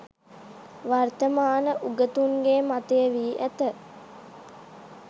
වර්තමාන උගතුන්ගේ මතය වී ඇත.